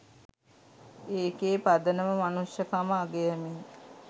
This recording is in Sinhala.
ඒකෙ පදනම මනුෂ්‍යකම අගයමින්